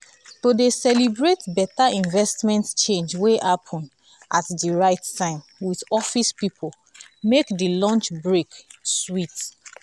to dey celebrate better investment change wey happen at the right time with office people make the lunch break sweet.